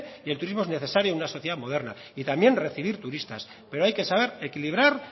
y el turismo es necesario en una sociedad moderna y también recibir turistas pero hay que saber equilibrar